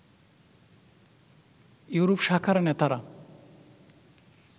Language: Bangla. ইউরোপ শাখার নেতারা